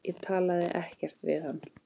Ég talaði ekkert við hann.